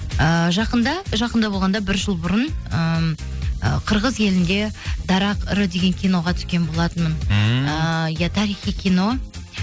ыыы жақында жақында болғанда бір жыл бұрын ыыы қырғыз елінде дарақ ыры деген киноға түскен болатынмын ммм ыыы иә тарихи кино